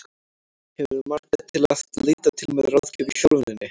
Hefurðu marga til að leita til með ráðgjöf í þjálfuninni?